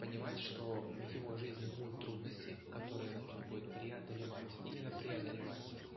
понимать что в его жизни будут трудности которые нужно будет преодолевать именно преодолевать